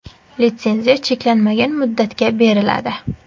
Litsenziya cheklanmagan muddatga beriladi.